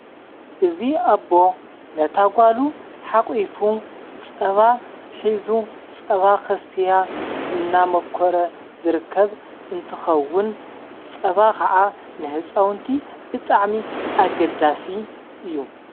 እዙ ኣቦ ነታ ጓሉ ሓቝፉ ጸባ ኂዙ ጸባ ኽስትያ እናመኮረ ዘርከብ እንትኸውን ጸባ ኸዓ ንሕፃውንቲ ብጣዕሚ ኣገዳሲ እዩ።